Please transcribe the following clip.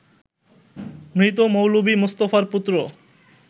মৃত মৌলভী মোস্তফার পুত্র